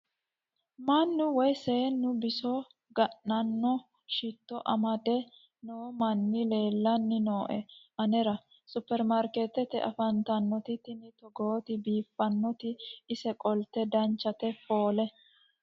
mannu woy seennu biso ga'nanno shitto amade noo manni lellanni nooe anera supermarikeettete afantannote tini togooti biiffannoti ise qolte danchate foole.